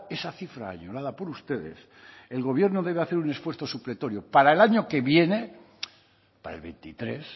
esa cifra ayudada por ustedes el gobierno debe de hacer un esfuerzo supletorio para el año que viene para el veintitrés